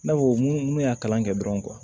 I n'a fɔ mun mun y'a kalan kɛ dɔrɔn